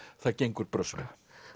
það gengur brösuglega